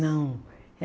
Não.